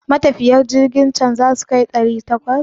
Matafiyan jirkin can zasu kai ɗari takwas?